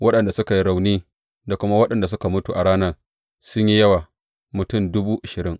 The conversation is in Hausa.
Waɗanda suka yi rauni da kuma waɗanda suka mutu a ranar sun yi yawa, mutum dubu ashirin.